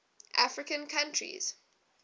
african countries